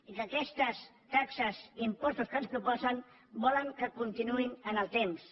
i que aquestes taxes i impostos que ens proposen volen que continuïn en el temps